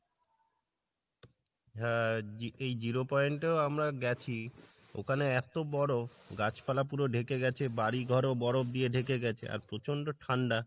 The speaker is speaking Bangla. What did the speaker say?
হ্যাঁ এই zero point এও আমরা গেছি ওখানে এত বরফ গাছ পালা পুরো ঢেকে গেছে বাড়ি ঘরও বরফ দিয়ে ঢেকে গেছে আর প্রচণ্ড ঠাণ্ডা